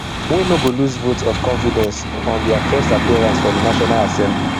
wey no go lose vote of confidence on dia first appearance for di national assembly